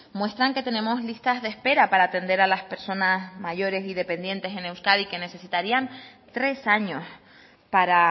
muestran que tenemos listas de espera para atender a las personas mayores y dependientes en euskadi que necesitarían tres años para